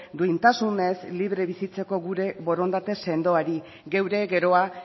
duintasunez libre bizitzeko gure borondate sendoari geure geroa